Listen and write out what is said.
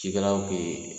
Cikɛlaw bee